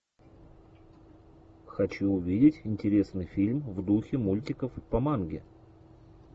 хочу увидеть интересный фильм в духе мультиков по манге